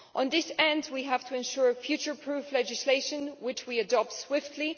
To this end, we have to ensure future-proof legislation which we adopt swiftly.